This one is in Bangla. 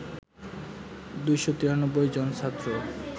২৯৩ জন ছাত্র